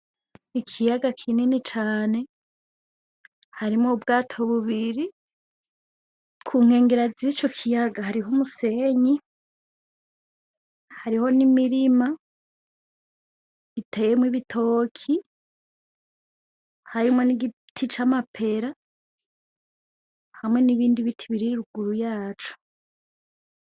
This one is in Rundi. Ikiyaga kinini cane harimwo ubwato bubiri kunkengera zico kiyaga hariho umusenyi ,hariho n'imirima iteyemwo ibitoki harimwo n'igiti c'amapera hamwe nibindi biti biri ruguru yaco